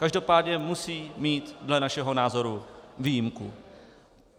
Každopádně musí mít dle našeho názoru výjimku.